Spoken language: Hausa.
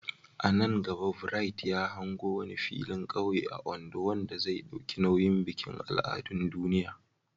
A nan gaba, Bright ya hango wani filin kauye a Ondo wanda zai dauki nauyin bikin al'adun duniya.